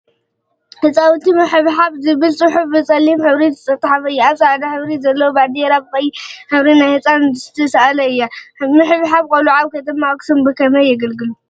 ህፃውንቲ ምሕብሓብ ዝብል ፅሑፍ ብፀሊም ሕብሪ ዝተፀሓፈ አብ ፃዕዳ ሕብሪ ዘለዋ ባንዴራ ብቀይሕ ሕብሪ ናይ ህፃን ስእሊ ዝተሰአላን እያ፡፡ ምሕብሓብ ቆልዑ አብ ከተማ አክሱም ብከመይ የገልግሉ?